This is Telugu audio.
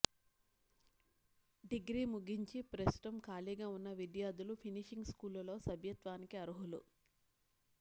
డిగ్రీ ముగించి ప్రస్తుతం ఖాళీగా ఉన్న విద్యార్థులు ఫినిషింగ్ స్కూలులో సభ్యత్వానికి అర్హులు